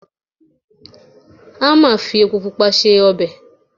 Ama fi epo Pupa se ọbẹ̀.